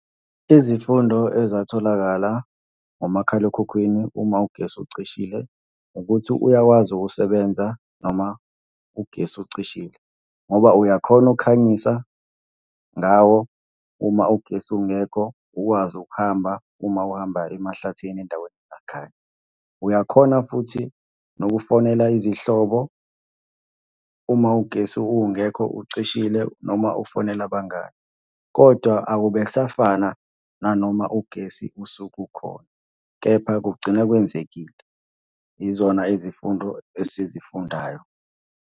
Izifundo ezatholakala ngomakhalekhukhwini uma ugesi ucishile ukuthi uyakwazi ukusebenza noma ugesi ucishile, ngoba uyakhona ukukhanyisa ngawo uma ugesi ungekho, ukwazi ukuhamba uma uhamba emahlathini endaweni emakhaya. Uyakhona futhi nokufonela izihlobo uma ugesi ungekho ucishile noma ufonele abangani, kodwa akube kusafana nanoma ugesi usuke ukhona, kepha kugcina kwenzekile. Yizona izifundo esizifundayo.